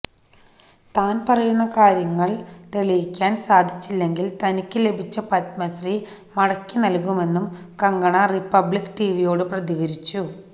താന് പറയുന്ന കാര്യങ്ങള് തെളിയിക്കാന് സാധിച്ചില്ലെങ്കില് തനിക്ക് ലഭിച്ച പദ്മശ്രീ മടക്കി നല്കുമെന്നും കങ്കണ റിപ്പബ്ലിക്ക് ടിവിയോട് പ്രതികരിച്ചു